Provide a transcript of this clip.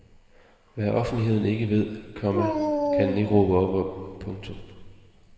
Hvad offentligheden ikke ved, komma kan den ikke råbe op om. punktum